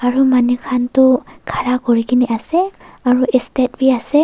Aro manu khan tuh khara kurekena ase aro estep bhi ase.